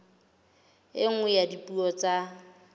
e nngwe ya dipuo tsa